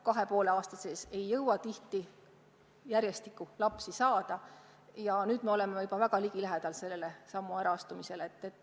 Kahe ja poole aastaga ei jõuta tihti järjestikku lapsi saada ja nüüd me oleme juba väga lähedal selle sammu astumisele.